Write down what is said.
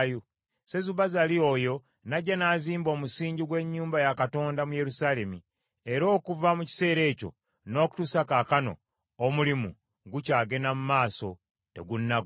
“Sesubazaali oyo n’ajja n’azimba omusingi gw’ennyumba ya Katonda mu Yerusaalemi, era okuva mu kiseera ekyo n’okutuusa kaakano omulimu gukyagenda mu maaso, tegunnagwa.”